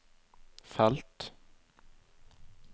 felt